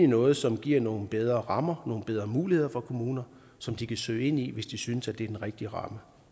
noget som giver nogle bedre rammer nogle bedre muligheder for kommunerne som de kan søge ind i hvis de synes at det er den rigtige ramme